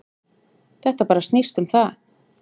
Þetta bara snýst um það.